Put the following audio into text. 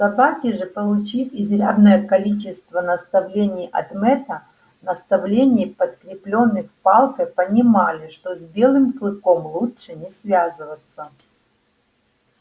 собаки же получив изрядное количество наставлений от мэтта наставлений подкреплённых палкой понимали что с белым клыком лучше не связываться